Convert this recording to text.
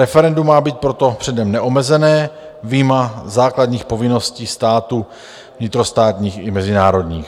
Referendum má být proto předem neomezené, vyjma základních povinností státu vnitrostátních i mezinárodních.